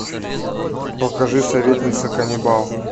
покажи советница каннибал